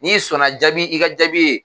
N'i sɔnna jaabi, i ka jaabi ye